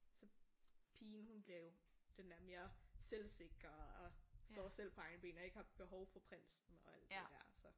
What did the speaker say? Så pigen hun bliver jo den der mere selvsikker og står selv på egne ben og ikke har behov for prinsen og alt det der så